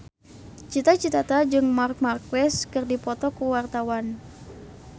Cita Citata jeung Marc Marquez keur dipoto ku wartawan